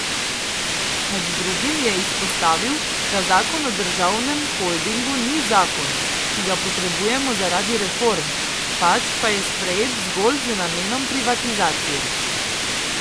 Med drugim je izpostavil, da zakon o državnem holdingu ni zakon, ki ga potrebujemo zaradi reform, pač pa je sprejet zgolj z namenom privatizacije.